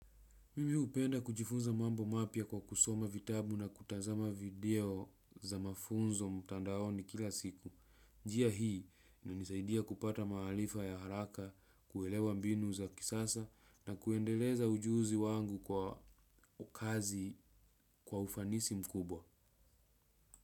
Mimi hupenda kujifunza mambo mapya kwa kusoma vitabu na kutazama video za mafunzo mtandaoni kila siku. Njia hii inanisaidia kupata maarifa ya haraka, kuelewa mbinu za kisasa na kuendeleza ujuzi wangu kwa kazi kwa ufanisi mkubwa.